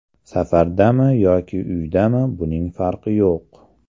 Safardami yoki uydami buning farqi yo‘q.